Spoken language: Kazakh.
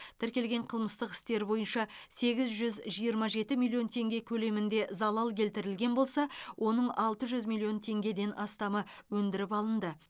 тіркелген қылмыстық істер бойынша сегіз жүз жиырма жеті миллион теңге көлемінде залал келтірілген болса оның алты жүз миллион теңгеден астамы өндіріп алынды